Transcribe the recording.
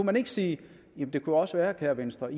man ikke sige jamen det kunne også være kære venstre